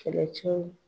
Kɛlɛcɛw